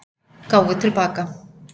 Gáfu til baka